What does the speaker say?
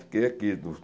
Fiquei aqui dos